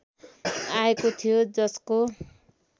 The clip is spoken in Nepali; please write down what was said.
आएको थियो जसको